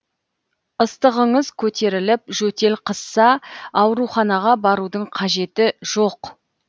ыстығыңыз көтеріліп жөтел қысса ауруханаға барудың қажет жоқ